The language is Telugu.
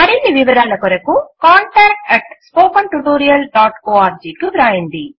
మరిన్ని వివరముల కొరకు contactspoken tutorialorg కు వ్రాయండి